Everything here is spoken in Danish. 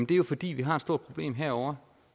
det er jo fordi vi har et stort problem herovre